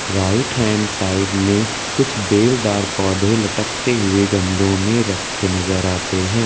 Right hand side में कुछ बेलदार पौधे लटकते हुए गमलों में रखे नजर आते हैं।